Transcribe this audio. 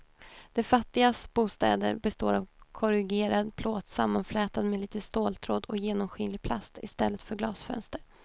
De fattigas bostäder består av korrugerad plåt sammanflätad med lite ståltråd och genomskinlig plast i stället för glasfönster.